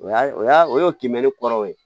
O y'a o y'a o y'o kimɛli kɔrɔ ye